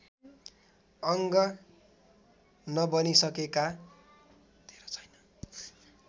अङ्ग नबनिसकेका